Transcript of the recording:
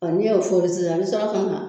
Ɔ n'i y'o fori sisan n me sɔrɔ ka na